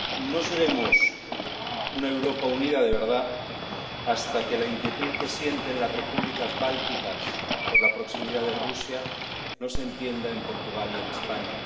No seremos una Europa unida de verdad hasta que la inquietud que sienten las Repúblicas bálticas por la proximidad de Rusia no se entienda en Portugal y en España.